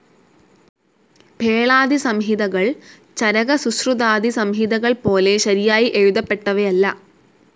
ഭേളാദിസംഹിതകൾ, ചരകസുശ്രുതാദി സംഹിതകൾപോലെ ശരിയായി എഴുതപ്പെട്ടവയല്ല.